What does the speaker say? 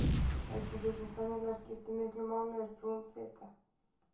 eitt af því sem sennilega skiptir miklu máli er brún fita